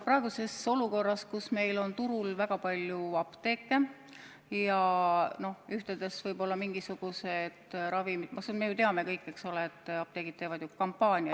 Praeguses olukorras on meil turul väga palju apteeke ja me teame kõik, et apteegid teevad ju kampaaniaid.